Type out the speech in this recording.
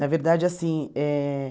Na verdade, assim, eh